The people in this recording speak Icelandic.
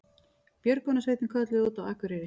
Björgunarsveitin kölluð út á Akureyri